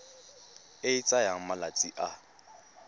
e e tsayang malatsi a